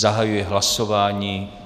Zahajuji hlasování.